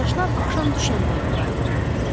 Qardaşlar axşam düşəndə evə qayıdırdılar.